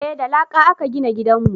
eh da laƙa a ka gina gidanmu